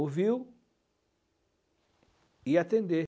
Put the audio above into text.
Ouviu e atender.